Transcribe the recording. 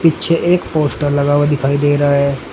पीछे एक पोस्टर लगा हुआ दिखाई दे रहा है।